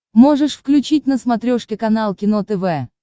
можешь включить на смотрешке канал кино тв